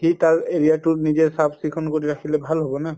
সি তাৰ area তো নিজে চাফ চিকোন কৰি ৰাখিলে ভাল হব না